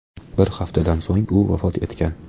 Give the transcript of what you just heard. Bir haftadan so‘ng u vafot etgan.